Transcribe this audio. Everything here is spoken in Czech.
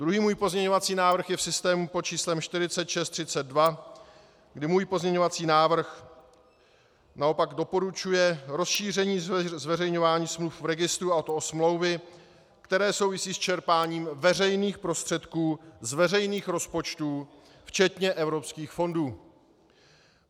Druhý můj pozměňovací návrh je v systému pod číslem 4632, kdy můj pozměňující návrh naopak doporučuje rozšíření zveřejňování smluv v registru, a to o smlouvy, které souvisí s čerpáním veřejných prostředků z veřejných rozpočtů, včetně evropských fondů.